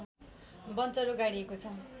बञ्चरो गाडिएको छ